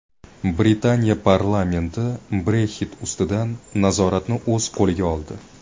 Britaniya parlamenti Brexit ustidan nazoratni o‘z qo‘liga oldi.